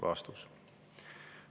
" Vastus.